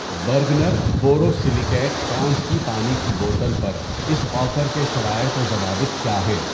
Bergner borosilicate کانچ کی پانی کی بوتل پر اس آفر کے شرائط و ضوابط کیا ہیں؟